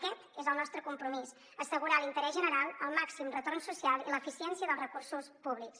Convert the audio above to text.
aquest és el nostre compromís assegurar l’interès general el màxim retorn social i l’eficiència dels recursos públics